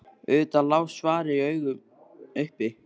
Auðvitað lá svarið í augum uppi.